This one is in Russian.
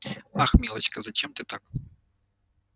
ах милочка зачем ты так